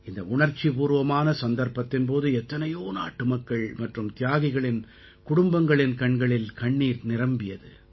இந்த உணர்ச்சிபூர்வமான சந்தர்ப்பத்தின் போது எத்தனையோ நாட்டுமக்கள் மற்றும் தியாகிகளின் குடும்பங்களின் கண்களில் கண்ணீர் நிரம்பியது